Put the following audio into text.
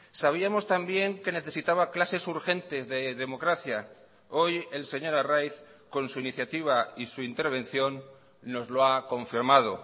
sabíamos también que necesitaba clases urgentes de democracia hoy el señor arraiz con su iniciativa y su intervención nos lo ha confirmado